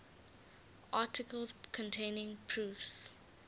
articles containing proofs